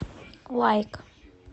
лайк